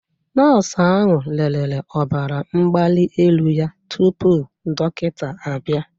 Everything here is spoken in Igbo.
Nọọsụ ahụ lere ọbara mgbali elu ya tupu dọkịta abịa